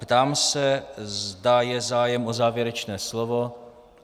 Ptám se, zda je zájem o závěrečné slovo.